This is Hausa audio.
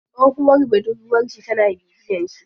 Tsohuwar budurwar shi tana bibiyen shi.